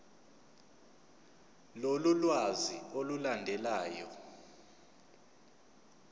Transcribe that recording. lolu lwazi olulandelayo